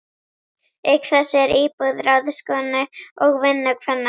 Auk þessa er íbúð ráðskonu og vinnukvenna.